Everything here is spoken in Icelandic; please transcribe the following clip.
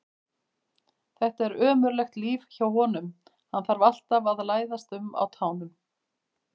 Þetta er ömurlegt líf hjá honum, hann þarf alltaf að læðast um á tánum.